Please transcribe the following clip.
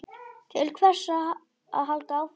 Til hvers að halda áfram?